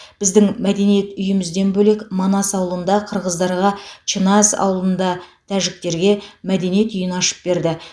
біздің мәдениет үйімізден бөлек манас ауылында қырғыздарға чыназ ауылында тәжіктерге мәдениет үйін ашып берді